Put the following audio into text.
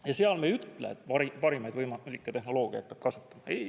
Ja seal me ei ütle, et parimaid võimalikke tehnoloogiat peab kasutama.